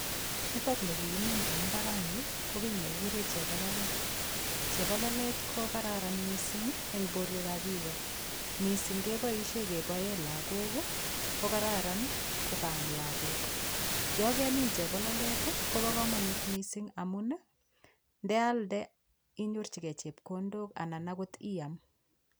Nitokni kikimin eng' imbarani ko kii nekikure chebololet chebololet kokararan mising' eng' borwekab biko mising' keboishe keboe lakok kokararan kokaam lakok yo kemin chepololdet kobo komonut mising' amun ndealde inyorchigei chepkondok anan akot iam